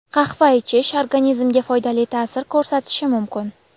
Qahva ichish organizmga foydali ta’sir ko‘rsatishi mumkin.